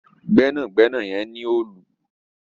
Gbẹ́nàgbẹ́nà yen ní Òòlù.